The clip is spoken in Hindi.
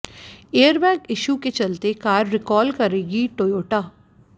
एयरबैग इशू के चलते कार रिकॉल करेगी टोयोटा